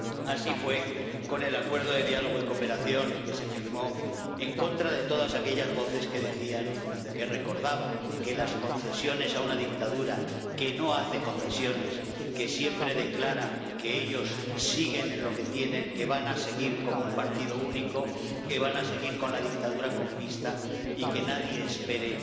Así fue con el Acuerdo de Diálogo y Cooperación que se firmó en contra de todas aquellas voces que decían, que recordaban que las concesiones a una dictadura que no hace concesiones, que siempre declara que ellos siguen con lo que tienen, que van a seguir como un partido único, que van a seguir con la dictadura comunista y que nadie espere